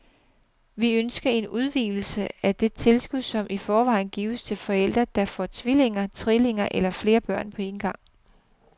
Vi ønsker en udvidelse af det tilskud, som i forvejen gives til forældre, der får tvillinger, trillinger eller flere børn på en gang.